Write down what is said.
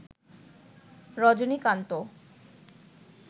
Rajinikanth